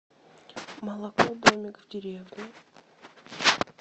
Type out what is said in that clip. молоко домик в деревне